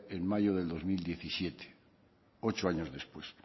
en mayo del dos mil diecisiete ocho años después